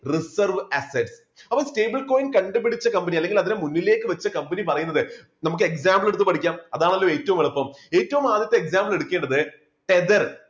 reserve asset അപ്പോൾ stable coin കണ്ടുപിടിച്ച company അല്ലെങ്കിൽ അതിനെ മുന്നിലേക്ക് വെച്ച കമ്പനി പറയുന്നത് നമുക്ക് example എടുത്തു പഠിക്കാം അതാണല്ലോ ഏറ്റവും എളുപ്പം ഏറ്റവും ആദ്യത്തെ example എടുക്കേണ്ടത്